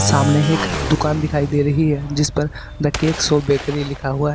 सामने एक दुकान दिखाई दे रही है जिस पर द केक शॉप बेकरी लिखा हुआ है।